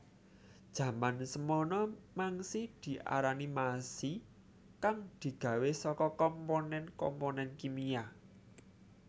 Jaman semana mangsi diarani masi kang digawé saka komponen komponen kimia